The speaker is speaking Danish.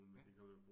Ja